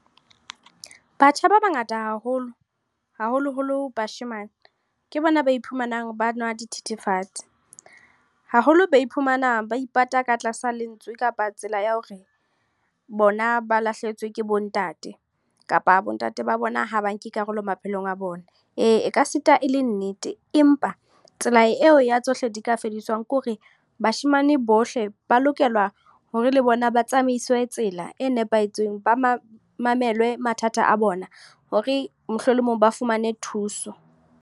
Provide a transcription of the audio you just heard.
Batjha ba bangata haholo. Haholoholo bashemane, ke bona ba iphumanang ba nwa dithethefatse. Haholo ba iphumana ba ipata ka tlasa lentswe, kapa tsela ya hore bona ba lahlehetswe ke bo ntate, kapa bo ntate ba bona ha ba nke karolo maphelong a bona. Ee, e ka sita e le nnete empa, tsela eo ya tsohle di ka fediswang. Ke hore bashemane bohle ba lokela hore le bona ba tsamaiswe tsela e nepahetseng. Ba mamelwe mathata a bona, hore mohlolomong ba fumane thuso.